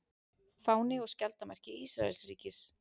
fáni og skjaldarmerki ísraelsríkis